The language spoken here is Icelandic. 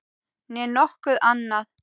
Né nokkuð annað.